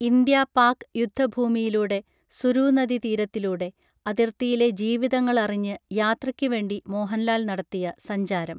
India Pak യുദ്ധ ഭൂമിയിലൂടെ സുരൂനദീ തീരത്തിലൂടെ അതിർത്തിയിലെ ജീവിതങ്ങളറിഞ്ഞ് യാത്രക്കുവേണ്ടി മോഹൻലാൽ നടത്തിയ സഞ്ചാരം